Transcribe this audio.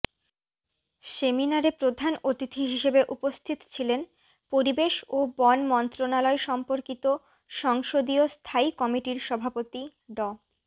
সেমিনারে প্রধান অতিথি হিসেবে উপস্থিত ছিলেন পরিবেশ ও বন মন্ত্রণালয়সম্পর্কিত সংসদীয় স্থায়ী কমিটির সভাপতি ড